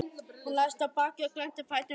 Hún lagðist á bakið og glennti fæturna sundur.